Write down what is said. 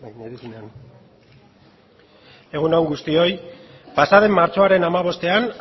egun on guztioi pasa den martxoaren hamabostean